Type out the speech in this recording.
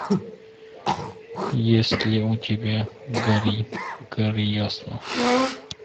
есть ли у тебя гори гори ясно